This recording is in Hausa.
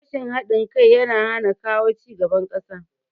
Rashin haɗin kai yana hana kawo cigaban ƙasa